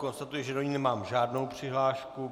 Konstatuji, že do ní nemám žádnou přihlášku.